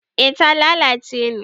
eh ta lalace ne